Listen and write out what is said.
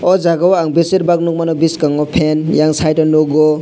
o jaga ang besirbak nogmano boskango fan eyang site o nogo.